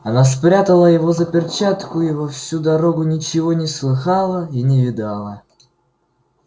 она спрятала его за перчатку и во всю дорогу ничего не слыхала и не видала